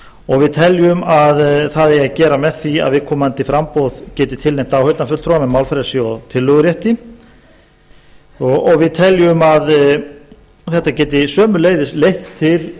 og við teljum að það eigi að gera með því að viðkomandi framboð geti tilnefnt áheyrnarfulltrúa með málfrelsi og tillögurétti og við teljum að þetta geti sömuleiðis leitt til